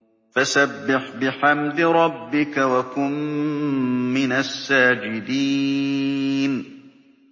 فَسَبِّحْ بِحَمْدِ رَبِّكَ وَكُن مِّنَ السَّاجِدِينَ